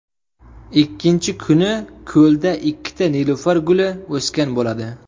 Ikkinchi kuni ko‘lda ikkita nilufar guli o‘sgan bo‘ladi.